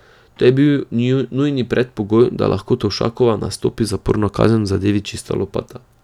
To je bil nujni predpogoj, da lahko Tovšakova nastopi zaporno kazen v zadevi Čista lopata.